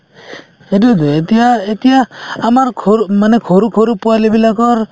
সেইটোয়েতো এতিয়া এতিয়া আমাৰ সৰু মানে সৰু সৰু পোৱালিবিলাকৰ